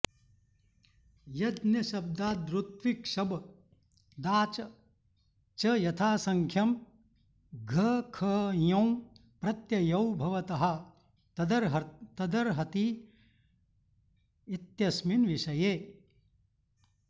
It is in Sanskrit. यज्ञशब्दादृत्विक्शब्दाच् च यथासङ्ख्यं घखञौ प्रत्ययौ भवतः तदर्हति इत्यस्मिन् विषये